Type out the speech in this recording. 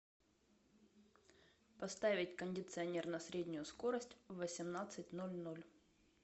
поставить кондиционер на среднюю скорость в восемнадцать ноль ноль